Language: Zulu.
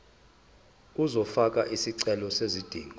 uzofaka isicelo sezidingo